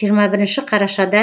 жиырма бірінші қарашада